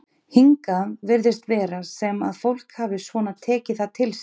Hingað virðist vera sem að fólk hafi svona tekið það til sín?